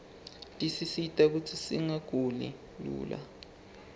tisisita kutsi singaguli lula